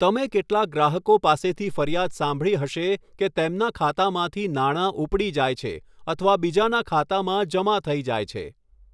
તમે કેટલાક ગ્રાહકો પાસેથી ફરિયાદ સાંભળી હશે કે તેમના ખાતામાંથી નાણાં ઉપડી જાય છે અથવા બીજાના ખાતામાં જમા થઈ જાય છે.